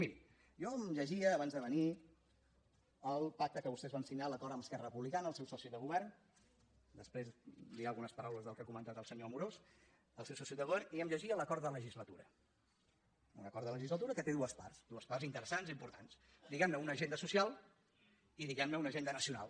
miri jo em llegia abans de venir el pacte que vostès van signar l’acord amb esquerra republicana el seu soci de govern després diré algunes paraules del que ha comentat el senyor amorós el seu soci de govern i em llegia l’acord de legislatura un acord de legislatura que té dues parts dues parts interessants i importants diguem ne una agenda social i diguem ne una agenda nacional